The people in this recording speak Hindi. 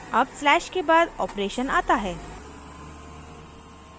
अब slash के बाद operation आता है